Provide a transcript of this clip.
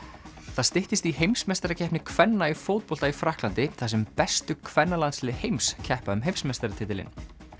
það styttist í heimsmeistarakeppni kvenna í fótbolta í Frakklandi þar sem bestu kvennalandslið heims keppa um heimsmeistaratitilinn